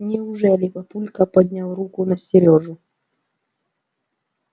неужели папулька поднял руку на серёжу